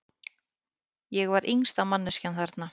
Ég var yngsta manneskjan þarna.